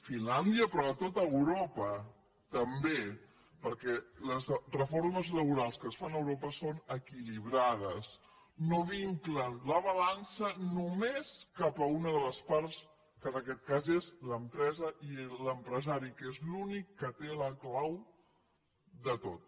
finlàndia però a tot europa també perquè les reformes laborals que es fan a europa són equilibrades no vinclen la balança només cap a una de les parts que en aquest cas és l’empresa i l’empresari que és l’únic que té la clau de tot